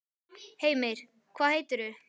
Heimir: Hvað heitirðu?